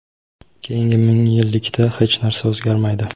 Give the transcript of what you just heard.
keyingi ming yillikda hech narsa o‘zgarmaydi.